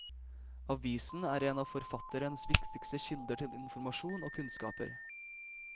Avisen er en av forfatterens viktigste kilder til informasjon og kunnskaper.